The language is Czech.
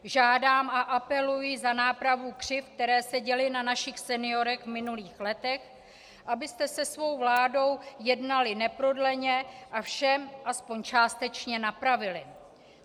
Žádám a apeluji za nápravu křivd, které se děly na našich seniorech v minulých letech, abyste se svou vládou jednali neprodleně a vše aspoň částečně napravili.